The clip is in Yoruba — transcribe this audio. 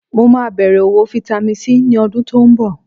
Mo máa bẹ̀rẹ̀ òwò Vitamin C ní ọdún tó ń bọ̀